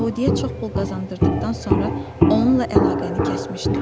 Yəhudiyə çox pul qazandırdıqdan sonra onunla əlaqəni kəsdim.